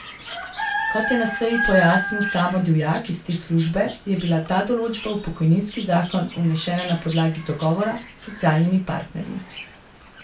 Kot je na seji pojasnil Samo Divjak iz te službe, je bila ta določba v pokojninski zakon vnešena na podlagi dogovora s socialnimi partnerji.